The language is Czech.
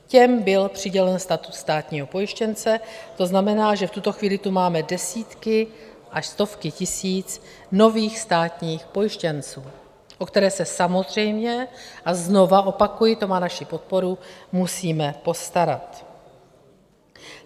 Těm byl přidělen status státního pojištěnce, to znamená, že v tuto chvíli tu máme desítky až stovky tisíc nových státních pojištěnců, o které se samozřejmě - a znovu opakuji, to má naši podporu - musíme postarat.